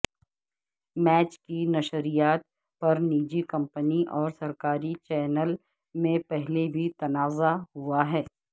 match کی نشریات پرنجی کمپنی اور سرکاری چینل میں پہلے بھی تنازعہ ہوا ہے